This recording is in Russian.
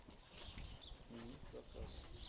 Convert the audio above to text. отменить заказ